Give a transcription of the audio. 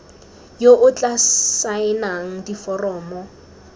yo o tla saenang diforomo